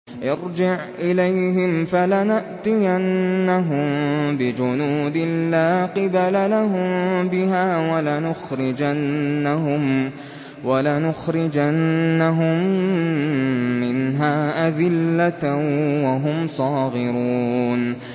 ارْجِعْ إِلَيْهِمْ فَلَنَأْتِيَنَّهُم بِجُنُودٍ لَّا قِبَلَ لَهُم بِهَا وَلَنُخْرِجَنَّهُم مِّنْهَا أَذِلَّةً وَهُمْ صَاغِرُونَ